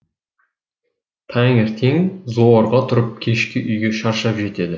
таңертең зорға тұрып кешке үйге шаршап жетеді